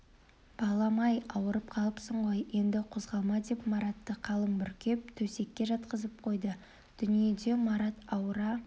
балам-ай ауырып қалыпсың ғой енді қозғалма деп маратты қалың бүркеп төсекке жатқызып қойды дүниеде марат ауыра